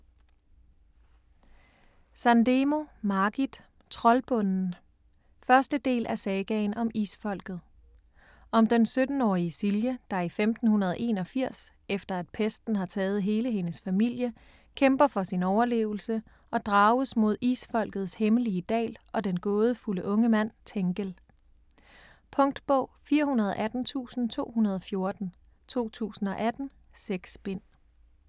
Sandemo, Margit: Troldbunden 1. del af Sagaen om Isfolket. Om den 17-årige Silje, der i 1581, efter at pesten har taget hele hendes familie, kæmper for sin overlevelse og drages mod Isfolkets hemmelige dal og den gådefulde unge mand Tengel. Punktbog 418214 2018. 6 bind.